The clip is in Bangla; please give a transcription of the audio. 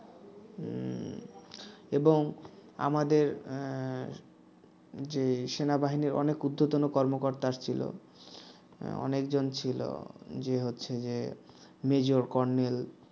এবং আমাদের যে সেনাবাহিনীর অনেক ঊর্ধ্বতন কর্মকর্তা আসছিল অনেকজন ছিল যে হচ্ছে যে major colonel